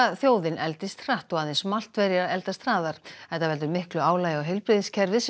þjóðin eldist hratt og aðeins Maltverjar eldast hraðar þetta veldur miklu álagi á heilbrigðiskerfið sem